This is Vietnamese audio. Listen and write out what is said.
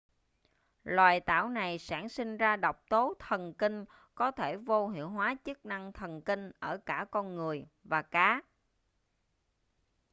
loài tảo này sản sinh ra độc tố thần kinh có thể vô hiệu hóa chức năng thần kinh ở cả con người và cá